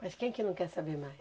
Mas quem que não quer saber mais?